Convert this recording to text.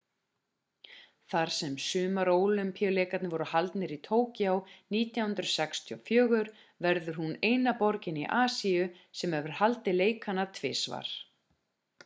þar sem sumarólympíuleikarnir voru haldnir í tokyo 1964 verður hún eina borgin í asíu sem hefur haldið leikana tvisvar